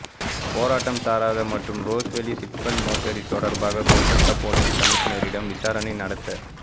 போராட்டம்சாரதா மற்றும் Rose Valley chit fund மோசடி தொடர்பாக கோல்கட்டா போலீஸ் கமிஷனரிடம் விசாரணை நடத்த